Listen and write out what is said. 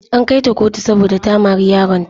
An kai ta kotu saboda ta mari yaronta.